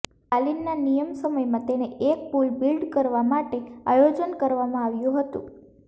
સ્ટાલિનના નિયમ સમયમાં તેને એક પુલ બિલ્ડ કરવા માટે આયોજન કરવામાં આવ્યું હતું